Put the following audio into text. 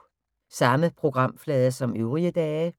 Samme programflade som øvrige dage